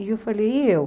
E eu falei, e eu?